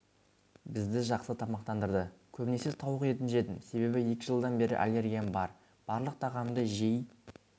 бізді жақсы тамақтандырды көбінесе тауық етін жедім себебі екі жылдан бері аллергиям бар барлық тағамды жей